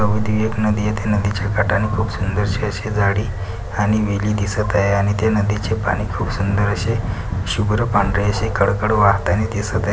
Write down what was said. अ व ती एक नदी आहे त्या नदीच्या काठानि खूप सुंदर आशे झाडी आणि वेली दिसत आहे आणि ते नदीचे पाणी खूप सुंदर आशे शुब्र पांढरे असे कडकड वाहताना दिसत आहे.